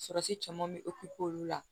Surasi caman be olu la